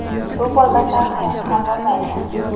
Suv bo‘lmasa, hayot ham bo‘lmaydi.